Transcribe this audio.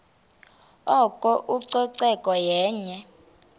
oko ucoceko yenye